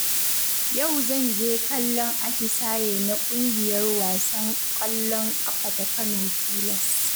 Yau zanje kallon atisaye na ƙungiyar wasan ƙwallon ƙafa ta Kano pilas.